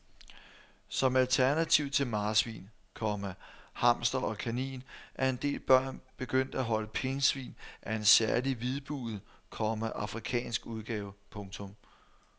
Som alternativ til marsvin, komma hamster og kanin er en del børn begyndt at holde pindsvin af en særlig hvidbuget, komma afrikansk udgave. punktum